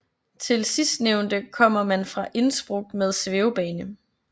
Til sistnævnte kommer man fra Innsbruck med svævebane